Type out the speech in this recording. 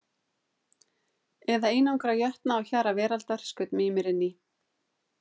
Eða einangra jötna á hjara veraldar, skaut Mímir inn í.